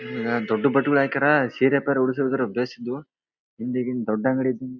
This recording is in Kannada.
ಸೀರೆ ಪೆರೆ ಉಡಿಸಿದ್ರು ಬೇಸಿದು ಹಿಂದೆಗಿ ದೊಡ್ಡ ಅಂಗಡಿ ಇದು--